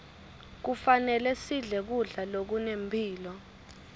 kufanele sidle kudla lokunemphilo